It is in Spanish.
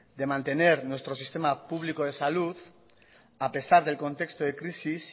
de mantener nuestro sistema público de salud a pesar del contexto de crisis